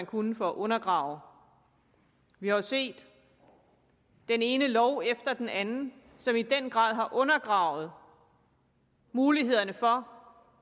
kunne for at undergrave vi har jo set den ene lov efter den anden som i den grad har undergravet mulighederne for